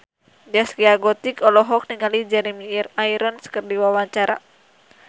Zaskia Gotik olohok ningali Jeremy Irons keur diwawancara